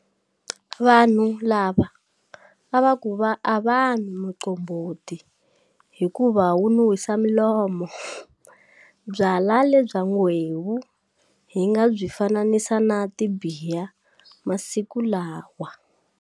Vanhu lava a va ku a va nwi muqombhoti hikuva wu nunhwisa milomo. Byalwa lebya nghwevu hi nga byi fananisa na tibiya masiku lawa.